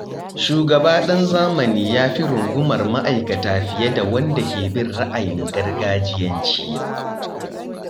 Shugaba ɗan zamani yafi rungumar ma'aikata fiye da wanda ke bin ra'ayin gargajiyanci.